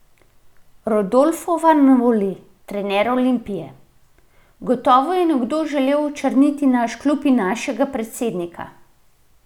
Rodolfo Vanoli, trener Olimpije: "Gotovo je nekdo želel očrniti naš klub in našega predsednika.